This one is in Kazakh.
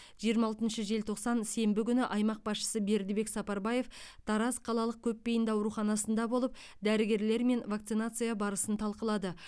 жиырма алтыншы желтоқсан сенбі күні аймақ басшысы бердібек сапарбаев тараз қалалық көпбейінді ауруханасында болып дәрігерлермен вакцинация барысын талқылады